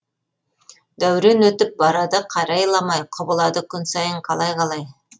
дәурен өтіп барады қарайламай құбылады күн сайын қалай қалай